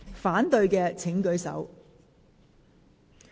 反對的請舉手。